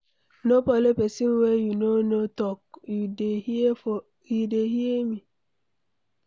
No follow pesin wey you no know talk, you dey hear me?